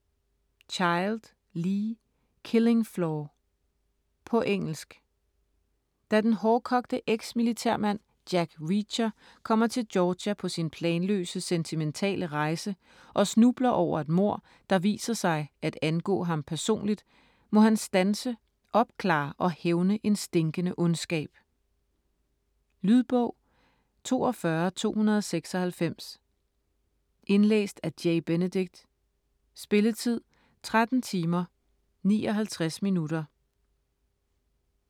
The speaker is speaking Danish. Child, Lee: Killing floor På engelsk. Da den hårdkogte ex-militærmand Jack Reacher kommer til Georgia på sin planløse, sentimentale rejse og snubler over et mord der viser sig at angå ham personligt, må han standse, opklare og hævne en stinkende ondskab. Lydbog 42296 Indlæst af Jay Benedict Spilletid: 13 timer, 59 minutter.